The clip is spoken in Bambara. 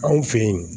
Anw fe yen